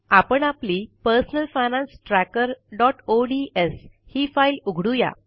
आपण आपली personal finance trackerओडीएस ही फाईल उघडू या